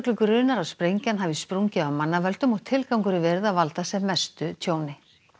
grunar að sprengjan hafi sprungið af mannavöldum og tilgangurinn verið að valda sem mestu tjóni